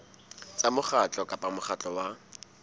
tsa mokgatlo kapa mokgatlo wa